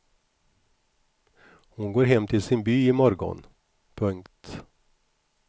Hon går hem till sin by i morgon. punkt